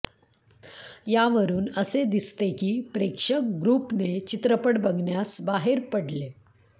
यावरून असे दिसते की प्रेक्षक ग्रुपने चित्रपट बघण्यास बाहेर पडले